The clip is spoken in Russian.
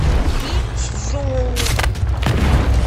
синьчжоу